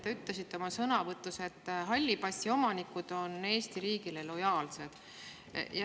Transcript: Te ütlesite oma sõnavõtus, et halli passi omanikud on Eesti riigile lojaalsed.